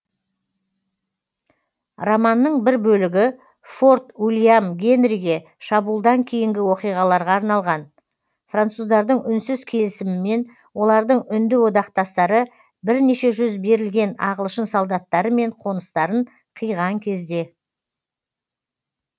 романның бір бөлігі форт уильям генриге шабуылдан кейінгі оқиғаларға арналған француздардың үнсіз келісімімен олардың үнді одақтастары бірнеше жүз берілген ағылшын солдаттары мен қоныстарын қиған кезде